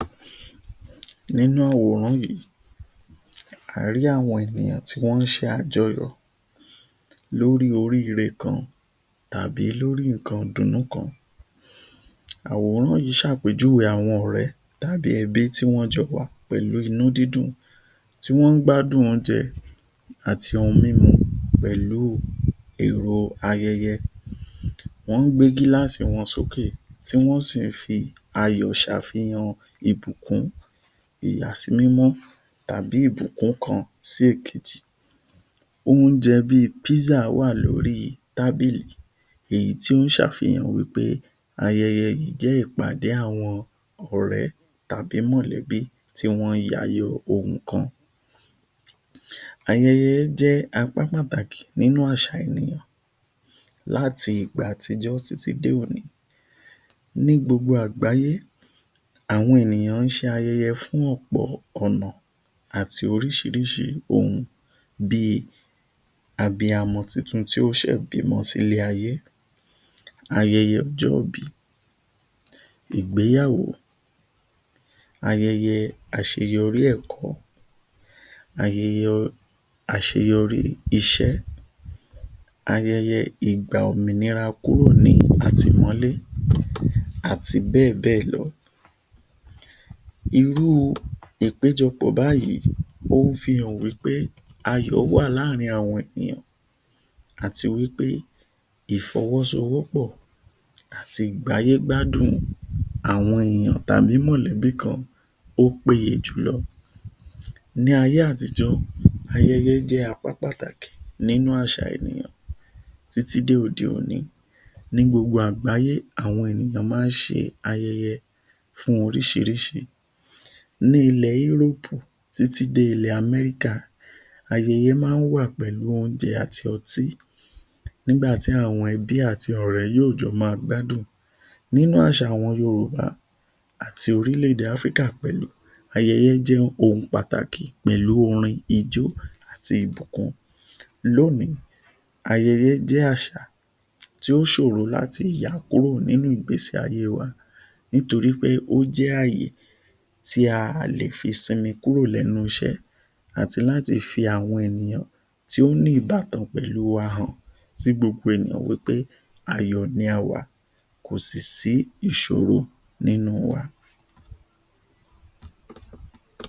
Nínú àwòrán yìí, a rí àwọn ènìyàn tí wọn ń ṣe àjọyọ̀ lórí oríre kan tàbí lórí nǹkan ìdùnnú kan, àwòrán yìí ṣàpèjúwe àwọn ọrẹ tàbí ẹbí tí wọn jọ wá pẹ̀lú inú dídùn tí wọn ń gbádùn oúnjẹ àti ohun mímu pẹ̀lú èrò ayẹyẹ. Wọn ń gbé gíláàsì wọn sókè tí wọn si n fi ayọ̀ ṣàfìhàn pẹ̀lú ìbùkún, Ìyàsímímọ́ tàbí bí ìbùkún kan sí èkejì. Oúnjẹ bí pizza wá lórí tábìlì, èyí tí ó ń ṣàfìhàn pé ayẹyẹ yìí jẹ ìpàdé àwọn ọrẹ tàbí mọlẹbí tí wọn ń yàyọ̀ nǹkan. Ayẹyẹ jẹ́ apá pàtàkì nínú àṣà ènìyàn láti ìgbà àtijọ́ títí di òní. Ní gbogbo àgbáyé, àwọn ènìyàn ń ṣe ayẹyẹ fún ọ̀pọ̀ ọ̀ràn àti oríṣiríṣi ohun bí abiyamọ tuntun tí ó ṣe bímọ sí ilé ayé, ayẹyẹ ọjọ́ ìbí, ìgbéyàwó, ayẹyẹ àṣeyọrí ẹ̀kọ́, ayẹyẹ àṣeyọrí iṣẹ́, ayẹyẹ ìgbà òmìnira kúrò ní àtìmọ́lé àti bẹ́ẹ̀ bẹ́ẹ̀ lọ. Irú ìpéjọ̀pọ̀, ó ń fi hàn pé ayọ̀ wá láàárín àwọn ènìyàn àti wí pé ifọwọ́sọwọ́pọ̀ àti ìgbé ayé gbádùn àwọn èèyàn tàbí mọ̀lẹ́bí kan ó péye jù lọ. Ní ayé àtijó, ayẹyẹ jẹ apá pàtàkì nínú àṣà ènìyàn títí dé òde-òní, ní gbogbo àgbáyé àwọn ènìyàn máa ń ṣe ayẹyẹ fún oríṣiríṣi. Ní ilẹ̀ Yúróòpù, títí dé ilẹ̀ Amẹ́ríkà, ayẹyẹ máa ń wà pẹ̀lú oúnjẹ àti ọtí nígbà tí àwọn ẹbí àti ọ̀rẹ́ yóò jọ máa gbádùn. Nínú àṣà àwọn Yorùbá àti orílẹ̀ èdè Áfríkà pẹ̀lú, ayẹyẹ jẹ ohun pàtàkì pẹ̀lú orin, ijó àti ìbùkún. Lónìí, ayẹyẹ jẹ Àṣà tí ó ṣòro láti yà kúrò nínú ìgbésí ayé wa nítorí pé ó jẹ àyè tí a lè fi sinmi kúrò lẹ́nu iṣẹ́ àti láti fi àwọn tí ó ní ìbátan pẹ̀lú àhọ̀n tí gbogbo ènìyàn máa mọ̀ pé ayọ̀ la wà, kò sí sí ìṣòro nínú wa.